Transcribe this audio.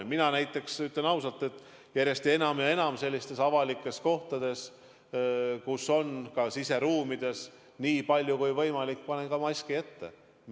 Ja mina näiteks, ütlen ausalt, panen järjest enam ja enam avalikes kohtades, ka siseruumides nii palju kui võimalik maski ette.